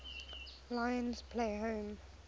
lions play home